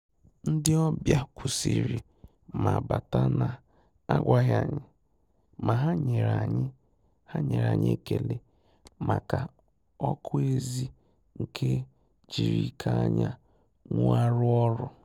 Ndị́ ọ́bị̀à kwụ́sị́rị̀ mà bátà nà-ágwàghị́ ànyị́, mà hà nyèrè ànyị́ hà nyèrè ànyị́ ékélé màkà ọ́kụ́ ézì nke jírí íké ányà nwụ́ àrụ́ ọ́rụ́.